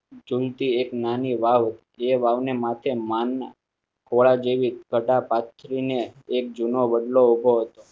ઝૂલ તી એક નાની વાવ આ વાવ ને માથે માન ખુરાના જેવી ઘટા પાથરી ને એક જૂનો બદલો ઉભો હતો.